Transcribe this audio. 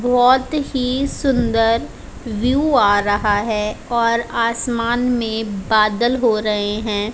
बहोत ही सुंदर व्यू आ रहा है और आसमान में बादल हो रहे हैं।